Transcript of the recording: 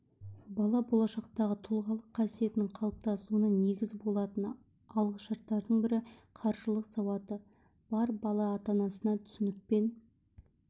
бала болашақтағы тұлғалық қасиетінің қалыптасуына негіз болатын алғышарттардың бірі қаржылық сауаты бар бала ата-анасына түсіністікпен